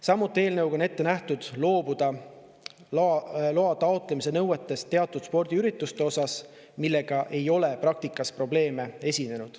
Samuti on eelnõuga ette nähtud loobuda loa taotlemise nõuetest teatud spordiürituste puhul, millega ei ole praktikas probleeme esinenud.